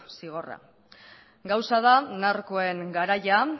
zigorra gauza da narkoen garaia